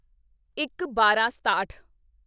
ਇੱਕਬਾਰਾਂਸਤਾਹਠ